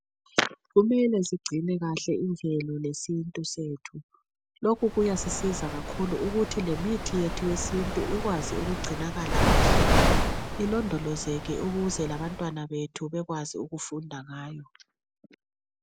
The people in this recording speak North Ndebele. Kumele sigcine kahle imvelo lesintu sethu. Lokhu kuyasisiza kakhulu ukuthi lemithi yethu yesintu ikwazi ukugcinakala kahle, ilondolozeke ukuze labantwana bethu bekwazi ukufunda ngayo.